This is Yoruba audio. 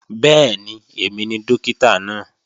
Bẹ́ẹ̀ni, èmi ni Dókítà náà